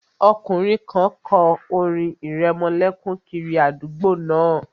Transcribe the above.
Ọkùnrin kan kọ orin ìrẹmọlẹ́kún kiri àdúgbò náà